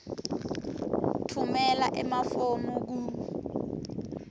tfumela emafomu ku